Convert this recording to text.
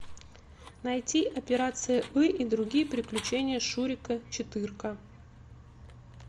найти операция ы и другие приключения шурика четырка